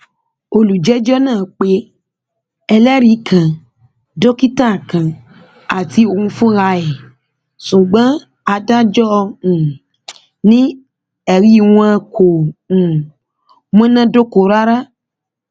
olùjẹjọ náà pé ẹlẹrìí kan dókítà kan àti òun fúnra ẹ ṣùgbọn adájọ um ni ẹrí wọn kò um múná dóko rárá